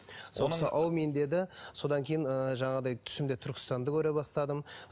сол кісі аумин деді содан кейін ыыы жаңағыдай түсімде түркістанды көре бастадым